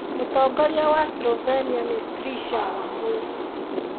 Mũtongoria wa Slovenia nĩ Trisha Wambui